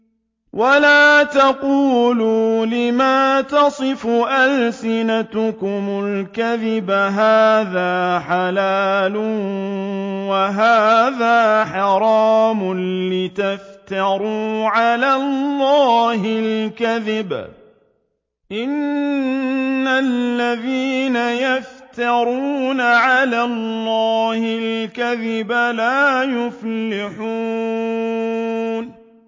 وَلَا تَقُولُوا لِمَا تَصِفُ أَلْسِنَتُكُمُ الْكَذِبَ هَٰذَا حَلَالٌ وَهَٰذَا حَرَامٌ لِّتَفْتَرُوا عَلَى اللَّهِ الْكَذِبَ ۚ إِنَّ الَّذِينَ يَفْتَرُونَ عَلَى اللَّهِ الْكَذِبَ لَا يُفْلِحُونَ